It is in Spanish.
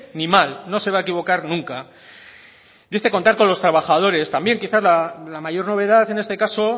ni mal no se va a equivocar nunca y este contar con los trabajadores también quizá la mayor novedad en este caso